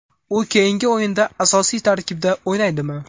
U keyingi o‘yinda asosiy tarkibda o‘ynaydimi?